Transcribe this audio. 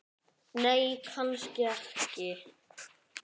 Nei, kannski ekki.